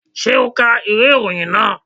Ṣé o ka ìwé ìròyìn náà?